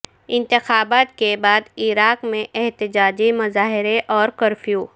انتخابات کے بعد عراق میں احتجاجی مظاہرے اور کرفیو